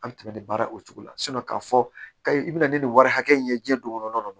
An bɛ tɛmɛ nin baara o cogo la k'a fɔ k'a i bɛna ni nin wari hakɛ in ye diɲɛ don kɔnɔna na